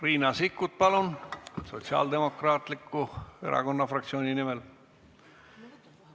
Riina Sikkut, palun, Sotsiaaldemokraatliku Erakonna fraktsiooni nimel.